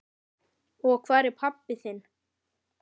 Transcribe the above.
Og hvar er pabbi þinn?